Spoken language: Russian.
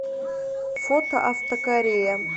фото автокорея